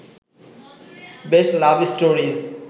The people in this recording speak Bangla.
best love stories